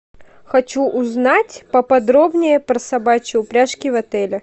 хочу узнать поподробнее про собачьи упряжки в отеле